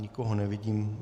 Nikoho nevidím.